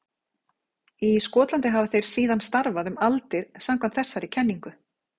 Í Skotlandi hafi þeir síðan starfað um aldir samkvæmt þessari kenningu.